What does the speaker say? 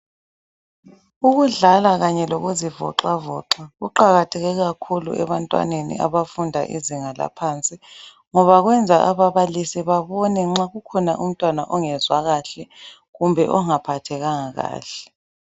Ukudlala kanye lokuzivoxavoxa kuqakatheke kakhulu ebantwaneni abafunda izinga laphansi ngoba kwenza ababalisi babone nxa kukhona umntwana ongezwa kahle kumbe ongaphathekanga kahle.